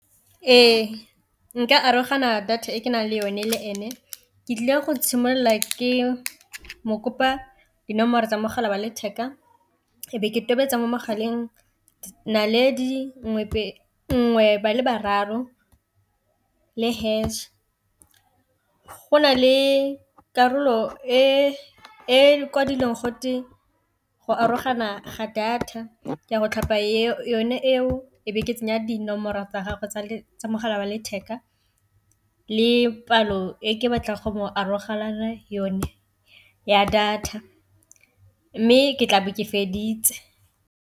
Ee, nka arogana data e ke nang le yone le ene ke tlile go tshimolola ke mo kopa dinomoro tsa mogala wa letheka e be ke tobetsa mo mogaleng naledi nngwe ba le bararo le hash. Go nale karolo e kwadileng gote go arogana ga data ka go tlhopha yone eo e be ke tsenya dinomoro tsa gagwe tsa mogala wa letheka le palo e ke batla go arogana yone ya data, mme ke tlabe ke feditse.